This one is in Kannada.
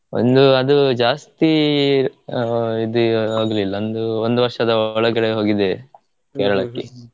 ಒಂದು ಅದು ಜಾಸ್ತಿ ಆ ಇದು ಆಗಲಿಲ್ಲ ಒಂದು ಒಂದು ವರ್ಷದ ಒಳಗಡೆ ಹೋಗಿದ್ದೆ .